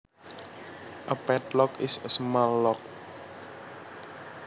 A padlock is a small lock